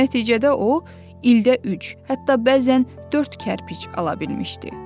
Nəticədə o ildə üç, hətta bəzən dörd kərpic ala bilmişdi.